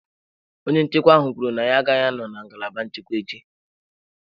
Onye nchekwa ahụ kwuru na ya agaghị anọ na ngalaba nchekwa echi.